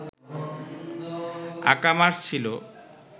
Akamas ছিল